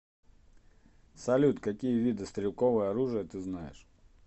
салют какие виды стрелковое оружие ты знаешь